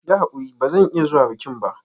Yi hakuri ba zan iya zuwa bikin ba.